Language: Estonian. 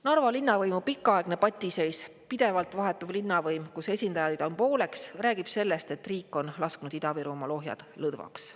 Narva linnavõimu pikaaegne patiseis, pidevalt vahetuv linnavõim, kus esindajaid on pooleks, räägib sellest, et riik on lasknud Ida-Virumaal ohjad lõdvaks.